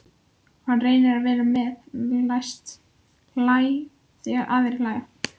Hann reynir að vera með, læst hlæja þegar aðrir hlæja.